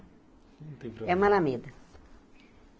Não tem proble É uma Alameda.